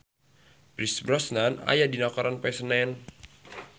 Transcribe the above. Pierce Brosnan aya dina koran poe Senen